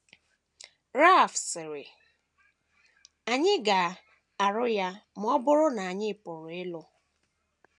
Ralph sịrị, “ Anyị ga - arụ ya ma ọ bụrụ na anyị pụrụ ịlụ. ”